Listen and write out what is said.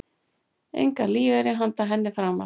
Engan ellilífeyri handa henni framar.